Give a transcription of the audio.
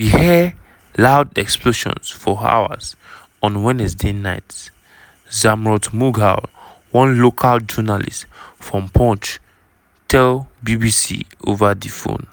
"we hear loud explosions for hours on wednesday night" zamrood mughal one local journalist from poonch tell bbc ova di phone.